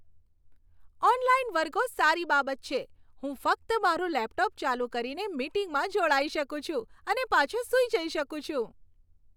Online વર્ગો સારી બાબત છે. હું ફક્ત મારું લેપટોપ ચાલુ કરીને મીટિંગમાં જોડાઈ શકું છું અને પાછો સૂઈ જઈ શકું છું.